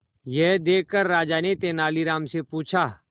यह देखकर राजा ने तेनालीराम से पूछा